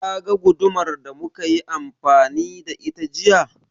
Ka ga gudumar da muka yi amfani da ita jiya?